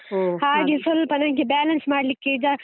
ಸ್ವಲ್ಪ ನಂಗೆ balance ಮಾಡ್ಲಿಕ್ಕೆ ಈಗ.